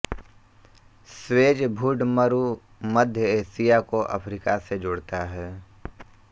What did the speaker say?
Suez भूडमरुमध्य Asia को Africa से जोड़ता है